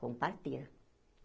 Com parteira.